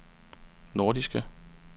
nordiske